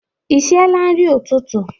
Ị siela nri ụtụtụ?